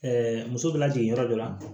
muso bɛ lajigin yɔrɔ dɔ la